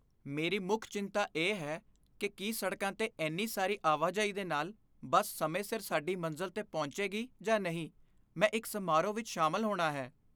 ਮੇਰੀ ਮੁੱਖ ਚਿੰਤਾ ਇਹ ਹੈ ਕਿ ਕੀ ਸੜਕਾਂ 'ਤੇ ਇੰਨੀ ਸਾਰੀ ਆਵਾਜਾਈ ਦੇ ਨਾਲ ਬੱਸ ਸਮੇਂ ਸਿਰ ਸਾਡੀ ਮੰਜ਼ਿਲ 'ਤੇ ਪਹੁੰਚੇਗੀ ਜਾਂ ਨਹੀਂ। ਮੈਂ ਇੱਕ ਸਮਾਰੋਹ ਵਿੱਚ ਸ਼ਾਮਲ ਹੋਣਾ ਹੈ।